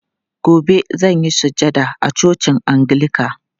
Gobe zan yi sujada a cocin angilika.